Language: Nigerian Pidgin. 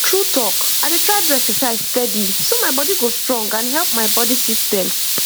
true talk i dey try do exercise steady so my body go strong and help my body system